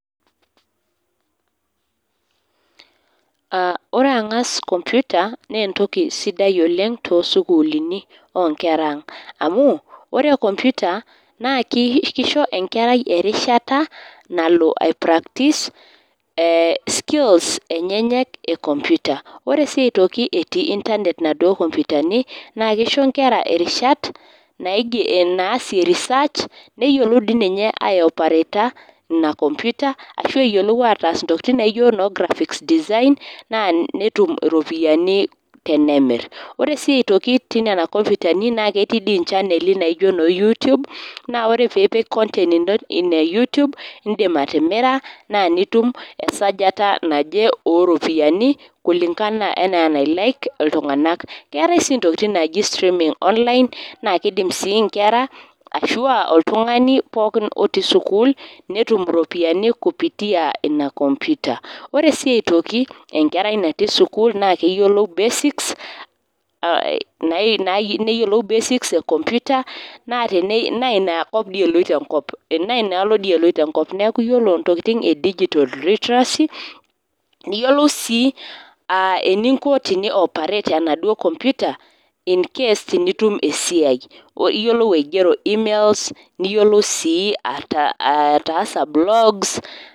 Aa ore angas kompita naa enkotoki sidai oleng toosukuulini oonkera ang. Amu ore kompita naa naa keisho enkerai erishata nalo aiprakitis skills enyenyek e koimpita. Ore sii aitoki etii intanet naduo kompitani naa keisho nkera irishat naasie research neyiolou dii ninye aiopareta ina kompita ashuu eyiolou ataas ntokitin naijio graphics Design naa netum iropiyiani tenemir. Ore siiaitoki tenena kompitani naa ketii inchaneli najio noo yutube naa ore piipik content ino ine indim atimira naa nitum esajata naje oropiyiani kulingana anaa enailike iltunganak. Keetai siininye enaji steaming online naakeidim sii nkera ashua oltungani pooki otii sukuul netum iropiyiani kupitia ina kompita. Ore siiaitoki enkerai natii sukuul naa keyiolou basics kompita naa inaalo dii elpito enkop. Neaku ore entokitin e digital literacy niyiolou sii aa eninko tinioparate enaduo kompita incase tenitum esiai. Niyiolou aigero email niyiolou sii ataasa blogs